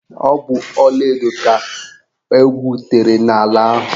Ọ bụ ọlaedo ka egwutere n'ala ahụ.